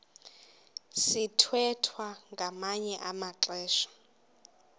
sithwethwa ngamanye amaxesha